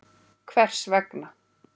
Hvers vegna?